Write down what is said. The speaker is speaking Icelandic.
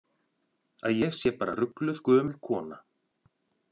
Að ég sé bara rugluð gömul kona.